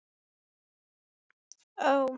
Sóla hljóp til pabba síns, þögul og undrandi í senn.